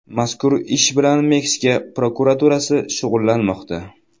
Mazkur ish bilan Meksika prokuraturasi shug‘ullanmoqda.